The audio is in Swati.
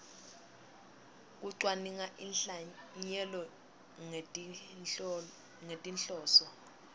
kucwaninga inhlanyelo ngetinhloso